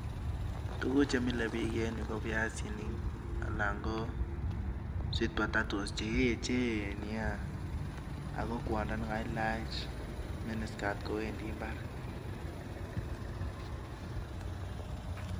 Tuguk che mile biik en yu ko biasinik anan ko sweet potatoes che eechen nya! Ak kwondo ne kailach mini skirt kowendi mbar.